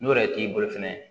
N'o yɛrɛ t'i bolo fɛnɛ